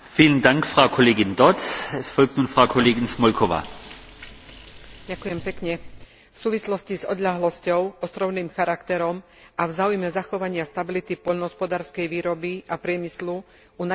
V súvislosti s odľahlosťou, ostrovným charakterom a v záujme zachovania stability poľnohospodárskej výroby a priemyslu u najvzdialenejších regiónov Únie zohrávajú programy špecifických riešení významnú úlohu.